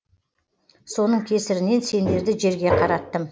соның кесірінен сендерді жерге қараттым